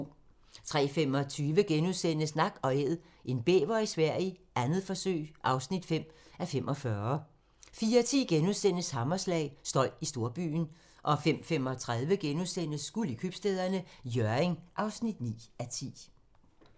03:25: Nak & Æd - en bæver i Sverige, 2. forsøg (5:45)* 04:10: Hammerslag - støj i storbyen * 05:35: Guld i Købstæderne - Hjørring (9:10)*